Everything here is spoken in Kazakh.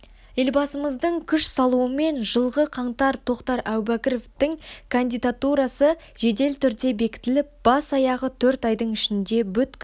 елбасымыздың күш салуымен жылғы қаңтарда тоқтар әубәкіровтің кандидатурасы жедел түрде бекітіліп бас-аяғы төрт айдың ішінде бүткіл